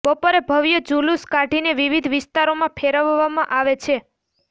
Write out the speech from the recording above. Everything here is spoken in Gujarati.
બપોરે ભવ્ય જુલુસ કાઢીને વિવિધ વિસ્તારોમાં ફેરવવામા આવે છે